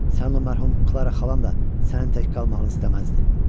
Sənin mərhum Klara xalan da sənin tək qalmağını istəməzdi.